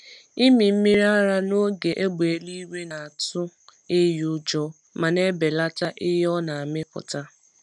Ịmị mmiri ara n’oge égbè eluigwe na-atụ ehi ụjọ ma na-ebelata ihe ọ na-amịpụta.